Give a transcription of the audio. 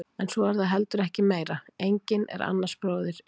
En svo er það heldur ekki meira, enginn er annars bróðir í leik.